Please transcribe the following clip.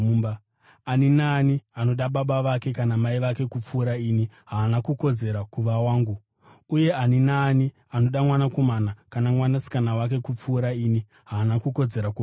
“Ani naani anoda baba vake kana mai vake kupfuura ini haana kukodzera kuva wangu; uye ani naani anoda mwanakomana kana mwanasikana wake kupfuura ini haana kukodzera kuva wangu.